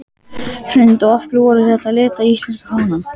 Hrund: Og af hverju voruð þið að lita íslenska fánann?